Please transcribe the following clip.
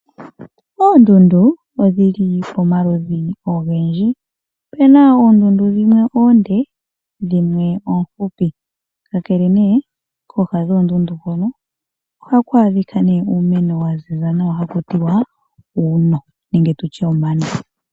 Oondundu odhili pamaludhi ogendji opu na oondundu dhimwe oonde na dhimwe oohupi, kooha dhoondundu ohaku adhika uumeno wa ziza nawa hawu ithanwa uuno.